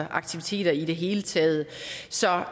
og aktiviteter i det hele taget så